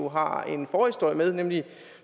har en forhistorie med nemlig